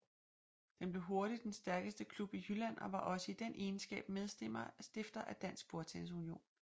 Den blev hurtig den stærkeste klub i Jylland og var også i den egenskab medstifter af Dansk BordTennis Union